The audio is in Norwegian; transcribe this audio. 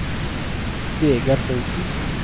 Vegard Holten